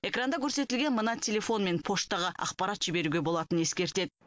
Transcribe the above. экранда көрсетілген мына телефон мен поштаға ақпарат жіберуге болатынын ескертеді